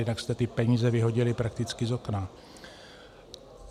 Jinak jste ty peníze vyhodili prakticky z okna.